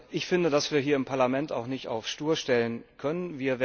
Ich finde, dass wir hier im Parlament auch nicht auf stur stellen können.